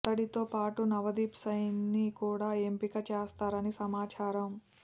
అతడితో పాటు నవదీప్ సైనిని కూడా ఎంపిక చేస్తారని సమాచారం